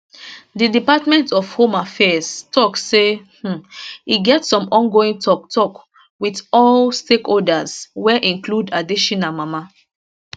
di department of home affairs tok say um e get some ongoing toktok wit all stakeholders wey include adetshina mama